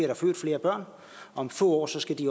der født flere børn og om få år skal de